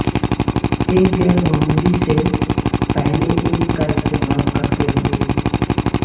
ایک غیر معمولی سے پہلے ایک کا استعمال کرتے ہوئے